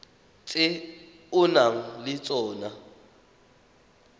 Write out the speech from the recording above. tse o nang le tsona